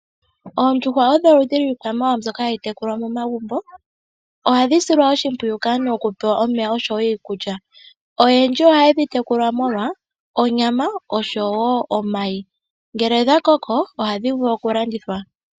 Oondjuhwa odho oludhi lwiikwamawa mbyoka hayi tekulwa momagumbo ohadhi silwa oshimpwiyu kaantu okupewa omeya oshowo niikulya. Ooyendji ohayedhi tekula molwa onyama oshowo omayi ngele odha koko ohadhi vulu oku landithwa.